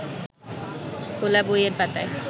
খোলা বইয়ের পাতায়